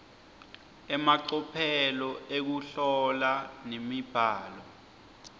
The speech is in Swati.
emacophelo ekuhlola nemibhalo